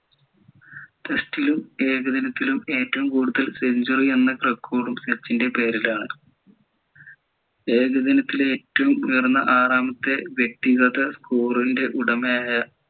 test ലും ഏകദിനത്തിലും ഏറ്റവും കൂടുതൽ century എന്ന record ഉം സച്ചിൻ്റെ പേരിലാണ് ഏകദിനത്തിലെ ഏറ്റവും ഉയർന്ന ആറാമത്തെ വ്യക്തികത score ൻ്റെ ഉടമയായ